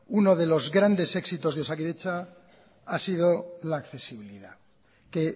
uno de los grandes éxitos de osakidetza ha sido la accesibilidad que